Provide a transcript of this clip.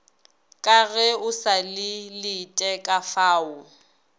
ka ge o sa letekafao